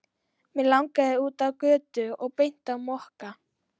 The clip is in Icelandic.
Mig langaði út á götu og beint á Mokka.